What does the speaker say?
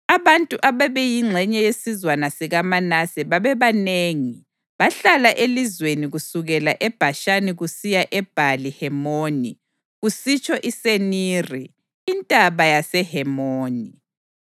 Abantu ababeyingxenye yesizwana sikaManase babebanengi; bahlala elizweni kusukela eBhashani kusiya eBhali-Hemoni, kusitsho iSeniri (iNtaba yaseHemoni).